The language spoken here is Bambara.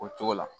O cogo la